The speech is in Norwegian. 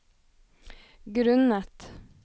grunnet